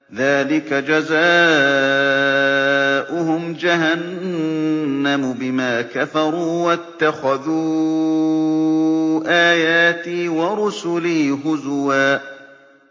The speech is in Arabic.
ذَٰلِكَ جَزَاؤُهُمْ جَهَنَّمُ بِمَا كَفَرُوا وَاتَّخَذُوا آيَاتِي وَرُسُلِي هُزُوًا